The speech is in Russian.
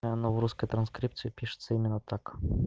и оно в русской транскрипции пишется именно так